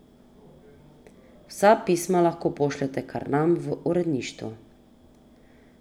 Vsa pisma lahko pošljete kar nam, v uredništvo.